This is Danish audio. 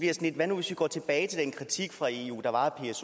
lidt hvad nu hvis vi går tilbage til den kritik fra eus